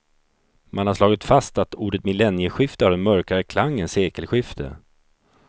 Man har slagit fast att ordet millennieskifte har en mörkare klang än sekelskifte.